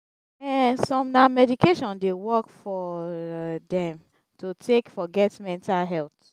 um som na meditation dey work for dem to take forget mental health